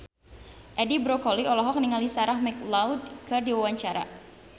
Edi Brokoli olohok ningali Sarah McLeod keur diwawancara